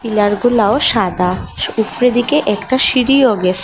দেওয়ালগুলাও সাদা উপরের দিকে একটা সিঁড়িও গেসে--